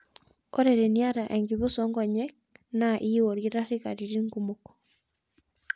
Ore teniyata enkipusta oonkonyek naa iyieu olkitarri nkatitin kumok.